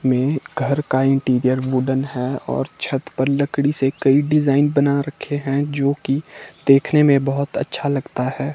में घर का इंटीरियर वुडन है और छत पर लकड़ी से कई डिजाइन बना रखे हैं जो की देखने में बहोत अच्छा लगता है।